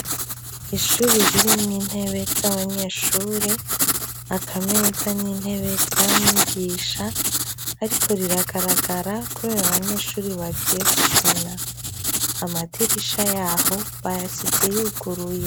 Ishuri ririmwo intebe z'abanyeshure, aka meza n'intebe vya mwigisha. Ariko riragaragara kubera abanyeshure bagiye gukina. Amadirisha y'aho bayasize yuguruye.